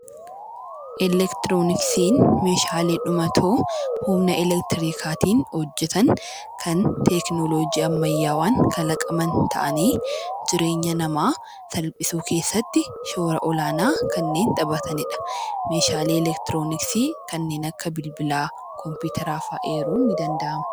Eleektirooniksiin meeshaalee dhumatoo kan humna eleektirikaatiin hojjetan kan teekinooloojii ammayyaan kalaqaman ta'anii jireenya namaa salphisuu keessatti shoora olaanaa kan taphatanidha. Meeshaalee eleektirooniksii kanneen akka bilbilaa, kompiiteraa fa'a eeruun ni danda’ama.